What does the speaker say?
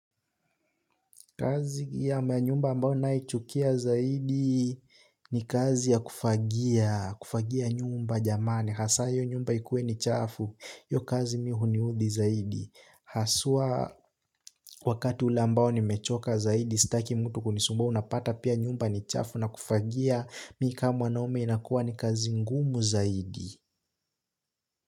Kazi ya nyumba ambayo naichukia zaidi ni kazi ya kufagia kufagia nyumba jamani hasa hio nyumba ikuwe ni chafu hio kazi mimi huniudhi zaidi haswa wakati ule ambao nimechoka zaidi, sitaki mtu kunisumba unapata pia nyumba ni chafu na kufagia, mimi kama mwanaume inakuwa ni kazi ngumu zaidi.